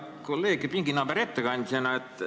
Hea kolleeg ja pinginaaber ettekandjana!